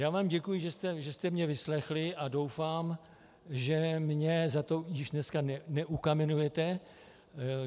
Já vám děkuji, že jste mě vyslechli, a doufám, že mě za to již dneska neukamenujete.